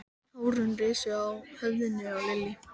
Hárin risu á höfðinu á Lillu.